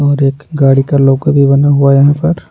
और एक गाड़ी का लोगो भी बना हुआ है यहाँ पर--